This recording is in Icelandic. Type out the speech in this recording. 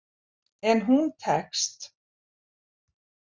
En hún tekst.